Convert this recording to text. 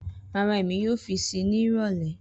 Rara Emi yoo fi sii ni irọlẹ